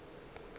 ga se a ka a